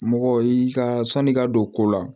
Mɔgɔ i ka sanni ka don ko la